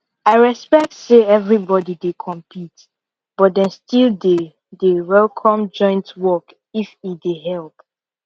i respect say everybody dey compete but dem still dey dey welcome joint work if e dey help